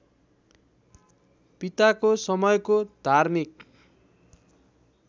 पिताको समयको धार्मिक